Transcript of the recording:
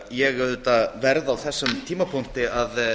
ég auðvitað verð á þessum tímapunkti að